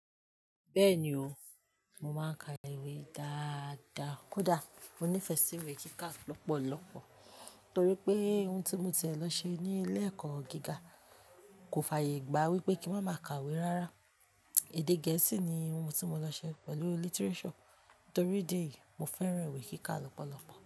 Bẹ́ẹ̀ni o, mo máa ń ka iwe dáadáa kódà mo nífẹ̀ẹ́ sí iwe kíkà lọ́pọ̀lọpọ̀ torí pé ohun tí mo ti ń lọ ṣe ní ilé ẹ̀kọ́ gíga kò fàyè gba wípé kí n má ka iwe rárá. Èdè gẹ̀ẹ́sì ni ohun tí mo lọ ṣe pẹ̀lú literature torí idi eyì mo fẹ́ràn iwe kíkà lọ́pọ̀lọpọ̀